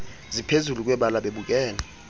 ziphezulu kwebala bebukele